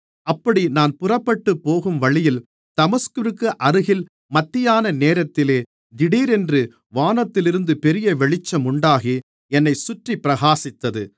அப்படி நான் புறப்பட்டுப் போகும் வழியில் தமஸ்குவிற்கு அருகில் மத்தியான நேரத்திலே திடீரென்று வானத்திலிருந்து பெரிய வெளிச்சம் உண்டாகி என்னைச் சுற்றிப் பிரகாசித்தது